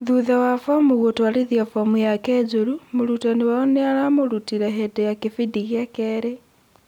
thutha wa Fomu gũtwarithia Fomu yake njorũ, mũrũtani wao nĩaramurutire hindi ya kĩbindi gĩa kerĩ